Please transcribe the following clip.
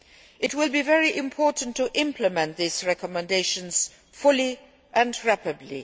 It will be very important to implement these recommendations fully and rapidly.